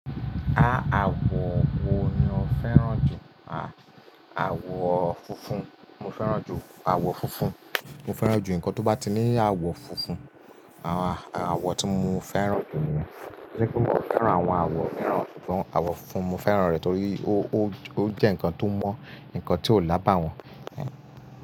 Áá àwọ̀ wo ni ó fẹ́ràn jù? Àwọ̀ funfun, mo fẹ́ràn jù àwọ̀ funfun. Mo fẹ́ràn jù nǹkan tó bá ti ní àwọ̀ funfun. Àwọ̀ tí mo fẹ́ràn jù ni rẹ̀. Kíni kó fẹ́ràn àwọn àwọ̀ míràn, àwọ̀ funfun mo fẹ́ràn rẹ̀ torí ó jẹ́ ǹkan tó mọ̀, ǹkan tí kò lábà wọ́n.